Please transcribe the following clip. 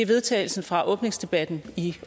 vedtagelse fra åbningsdebatten i